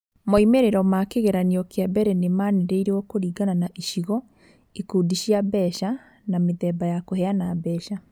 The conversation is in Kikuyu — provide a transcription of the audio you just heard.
Moimĩrĩro ma kĩgeranio kĩa mbere nĩ manĩrĩirio kũringana na icigo, ikundi cia mbeca, na mĩthemba ya kũheana mbeca.